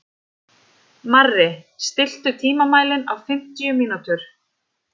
Marri, stilltu tímamælinn á fimmtíu mínútur.